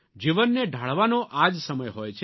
જીવનને ઢાળવાનો આ જ સમય હોય છે